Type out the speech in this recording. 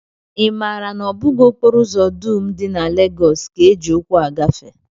I maara na ọ bụghị okporo ụzọ dum dị na Legọs ka e ji ụkwụ agafe?